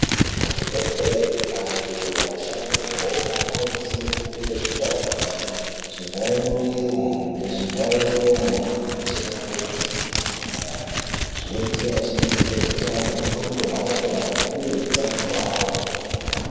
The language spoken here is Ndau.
Kuzvibhedhlere antu anoshandeko anokurudzirwe kupfeke zvivharenyare, zvivharemuviri, ngezvivharemuromo kana achirape matenda anopararire. Zvinoitira achengetedze hutano hweantu aari kurapa uye utano hwawo hwemene.